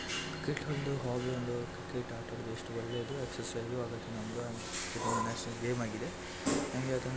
Cricket ಅಟ್ಟ ಎಷ್ಟು ಒಳ್ಳೆದು ಏಕ್ಸಿಸ್ಸ್ಸ್ ಆಗುತೆ ಒಂದು ನ್ಯಾಷನಲ್ ಗೇಮ್ ಆಗಿದೆ.